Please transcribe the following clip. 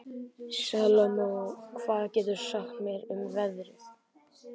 Salome, hvað geturðu sagt mér um veðrið?